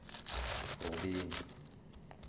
rubeni